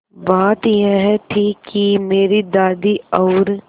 बात यह थी कि मेरी दादी और